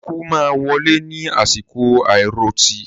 Ikú máa wọlé ní àsìkò àiròtì